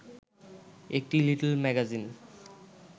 একটি little magazine